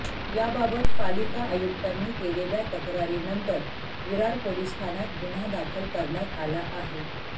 याबाबत पालिका आयुक्तांनी केलेल्या तक्रारीनंतर विरार पोलिस ठाण्यात गुन्हा दाखल करण्यात आला आहे